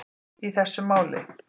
í þessu máli.